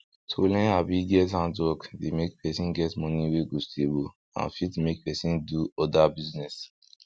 to learn abi get handwork dey make person get money wey go stable and fit make person do oda business